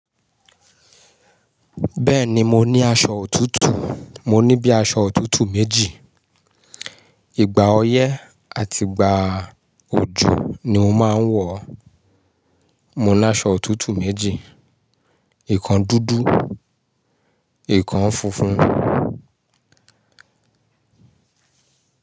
Bẹ́ẹ̀ni mo ní aṣọ òtútù, mo ní bí aṣọ òtútù méjì. Ìgbà ọyẹ́ àti ìgbà òjò ni mo máa ń wọ̀ ọ́. Mo ní aṣọ òtútù méjì. Ikàn dúdú, ikàn funfun.